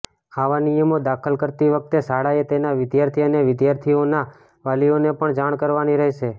આવા નિયમો દાખલ કરતી વખતે શાળાએ તેના વિદ્યાર્થી અને વિદ્યાર્થીનીઓના વાલીઓને પણ જાણ કરવાની રહેશે